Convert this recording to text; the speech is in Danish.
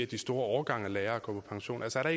de store årgange af lærere går på pension altså er